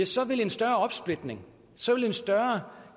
så vil en større opsplitning så vil en større